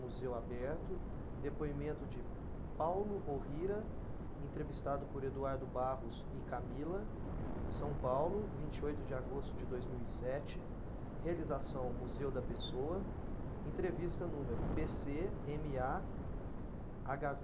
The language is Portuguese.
Museu aberto, depoimento de Paulo Orrira, entrevistado por Eduardo Barros e Camila, São Paulo, vinte e oito de agosto de dois mil e sete, realização Museu da Pessoa, entrevista número pê cê eme á agá vê